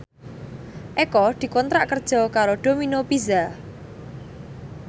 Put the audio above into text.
Eko dikontrak kerja karo Domino Pizza